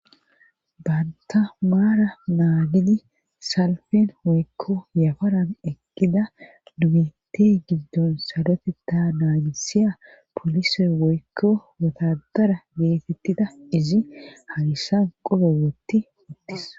Banta maara naagidi salfen woykko yafaran ekkida dumeetey giddon salote ta naagisiya polise woykko wotadara geetettida izi hagissan qolo wootti uttis